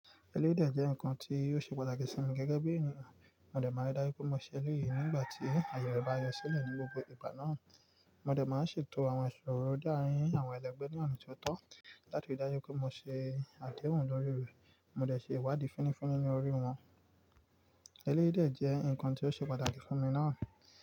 Eléyii dè jẹ́ ǹkan tí ò ṣe pàtàkì sí mi gẹ́gẹ́ bí ènìyàn. Mo dẹ̀ máa ridájú pé mo ṣẹlẹ̀ èyí nígbà tí àyẹ̀ re bá yọ sílẹ̀ ní gbogbo ìgbà náà. Mo dẹ̀ máa ṣètò àwọn ìṣòro de àrin àwọn ẹlẹgbẹ́ ní ọ̀nà tó tọ́, láti dájú pé mo ṣe àdehun lórí e, mo dẹ̀ ṣe ìwádìí fúnnífúnní ní orí wọn. Eléyii de jẹ́ ǹkan tí o ṣe pàtàkì fún mi ná.